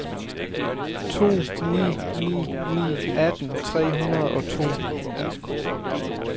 to ni ni ni atten tre hundrede og to